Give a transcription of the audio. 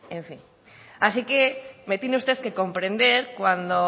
en fin así que me tiene usted que comprender cuando